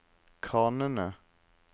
kranene